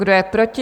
Kdo je proti?